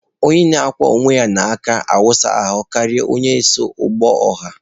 Onye na-akwọ onwe ya n'aka awụsa ahụ karịa onye so ụgbọ ọha.